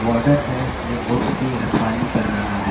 Warden है जो books की रखवाली कर रहा है।